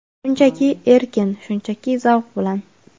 Shunchaki erkin, shunchaki zavq bilan.